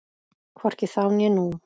Hvorki þá né nú.